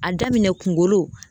A daminɛ kunkolow